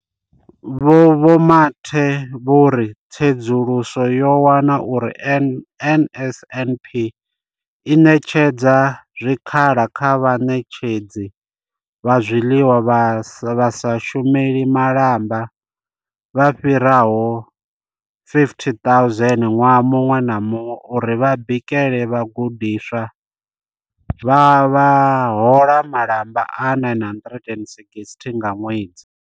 Vho Mathe vho ri tsedzuluso yo wana uri NSNP i ṋetshedza zwikhala kha vhaṋetshedzi vha zwiḽiwa vha sa shumeli malamba vha fhiraho 50 000 ṅwaha muṅwe na muṅwe uri vha bikele vhagudiswa vha hola malamba a R960 nga ṅwedzi.